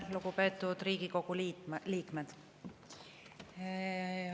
Lugupeetud Riigikogu liikmed!